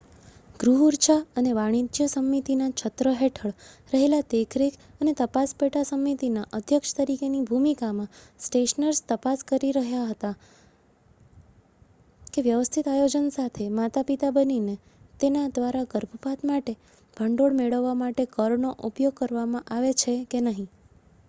ગૃહ ઉર્જા અને વાણિજ્ય સમિતિના છત્ર હેઠળ રહેલા દેખરેખ અને તપાસ પેટા-સમિતિના અધ્યક્ષ તરીકેની ભૂમિકામાં સ્ટેનર્સ તપાસ કરી રહ્યા છે કે વ્યવસ્થિત આયોજન સાથે માતા-પિતા બનીને તેના દ્વારા ગર્ભપાત માટે ભંડોળ મેળવવા માટે કરનો ઉપયોગ કરવામાં આવે છે કે નહીં